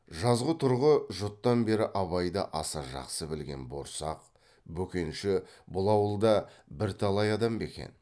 жазғытұрғы жұттан бері абайды аса жақсы білген борсақ бөкенші бұл ауылда бірталай адам бекен